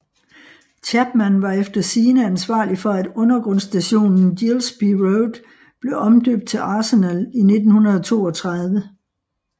Chapman var efter sigende ansvarlig for at undergrundsstationen Gillespie Road blev omdøbt til Arsenal i 1932